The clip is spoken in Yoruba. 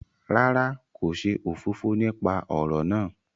Rárá, ko ṣe òfófó nípa ọrọ náà